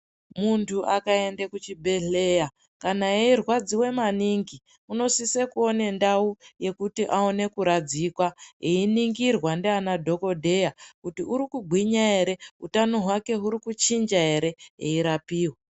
Muntu akaende kuchibhedhleya kana eirwadziwa maningi unosise kuone ndau yekuti aone kuradzikwa einingirwa ndiana dhokodheya kuti uri kugwinya ere utano hwake huri kuchinja ere eirapiwa.